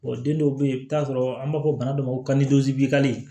den dɔw be yen i bi taa sɔrɔ an b'a fɔ bana dɔ ma ko